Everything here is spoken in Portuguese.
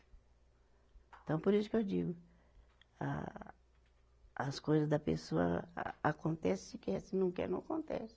Então, por isso que eu digo, a as coisa da pessoa a acontece se quer, se não quer não acontece.